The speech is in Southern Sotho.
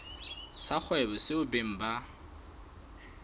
sa kgwebo seo beng ba